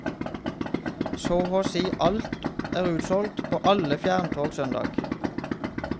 Så og si alt er utsolgt på alle fjerntog søndag.